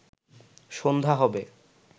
সন্ধ্যা হবে